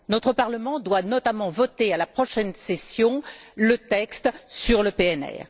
Notre Parlement doit notamment voter, lors de la prochaine session, le texte sur le PNR.